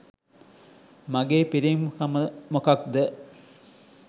මගේ පිරිමිකම මොකක්ද?